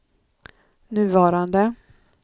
nuvarande